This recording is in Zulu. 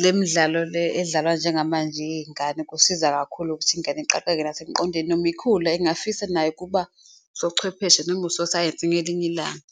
le midlalo le edlalwa njengamanje yey'ngane kusiza kakhulu ukuthi iy'ngane Iqaqeke nasekuqondeni noma ikhula engingafisa nayo ukuba usobuchwepheshe noma ososayensi ngelinye ilanga.